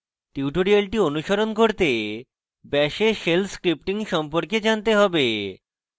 tutorial অনুসরণ করতে bash এ shell scripting সম্পর্কে জানতে have